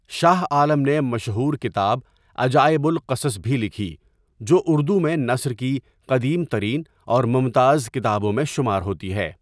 شاہ عالم نے مشہور کتاب عجائب القصص بھی لکھی جو اردو میں نثر کی قدیم ترین اور ممتاز کتابوں میں شمار ہوتی ہے۔